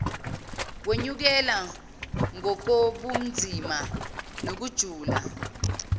kwenyukela ngokobunzima nokujula